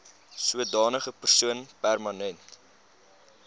sodanige persoon permanent